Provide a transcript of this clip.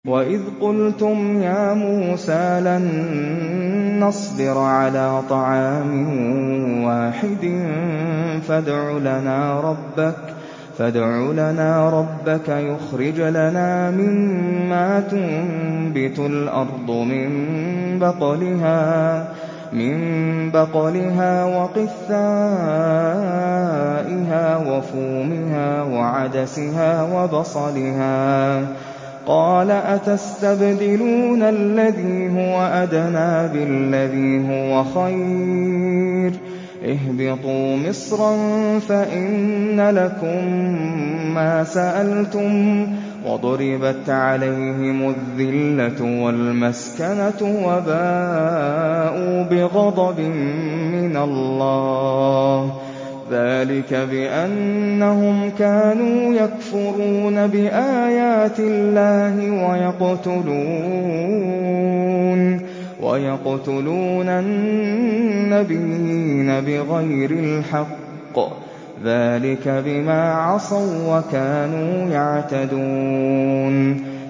وَإِذْ قُلْتُمْ يَا مُوسَىٰ لَن نَّصْبِرَ عَلَىٰ طَعَامٍ وَاحِدٍ فَادْعُ لَنَا رَبَّكَ يُخْرِجْ لَنَا مِمَّا تُنبِتُ الْأَرْضُ مِن بَقْلِهَا وَقِثَّائِهَا وَفُومِهَا وَعَدَسِهَا وَبَصَلِهَا ۖ قَالَ أَتَسْتَبْدِلُونَ الَّذِي هُوَ أَدْنَىٰ بِالَّذِي هُوَ خَيْرٌ ۚ اهْبِطُوا مِصْرًا فَإِنَّ لَكُم مَّا سَأَلْتُمْ ۗ وَضُرِبَتْ عَلَيْهِمُ الذِّلَّةُ وَالْمَسْكَنَةُ وَبَاءُوا بِغَضَبٍ مِّنَ اللَّهِ ۗ ذَٰلِكَ بِأَنَّهُمْ كَانُوا يَكْفُرُونَ بِآيَاتِ اللَّهِ وَيَقْتُلُونَ النَّبِيِّينَ بِغَيْرِ الْحَقِّ ۗ ذَٰلِكَ بِمَا عَصَوا وَّكَانُوا يَعْتَدُونَ